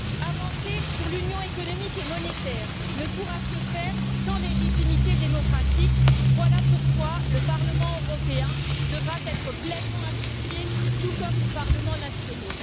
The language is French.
Avancer sur l'Union économique et monétaire ne pourra se faire sans légitimité démocratique, voilà pourquoi le Parlement européen devra être pleinement associé, tout comme les parlements nationaux.